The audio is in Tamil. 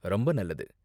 ரொம்ப நல்லது.